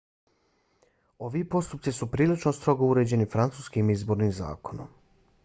ovi postupci su prilično strogo uređeni francuskim izbornim zakonom